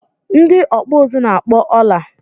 Ndị ọkpụ uzu na-akpọ ọla